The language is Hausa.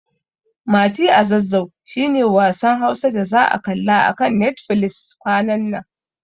Mati a Zazzau shi ne wasan Hausa da za'a kalla a kan Netfilis kwanan nan.